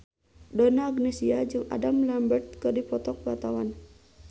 Donna Agnesia jeung Adam Lambert keur dipoto ku wartawan